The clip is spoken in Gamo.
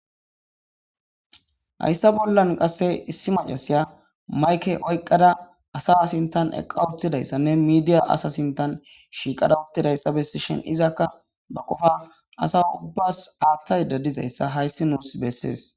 hayssa bollan qasse issi macasiya mayke oyqqada asa sintan eqqa uthidayssanne miidiya asa sintan shiiqada uttidayssa bessi shin izakka ba qofa asa ubbas aaththay dadizayssa hayssi nuus bessees